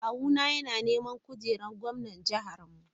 Kawuna yana neman kujerar gwamnan jihar mu.M.m.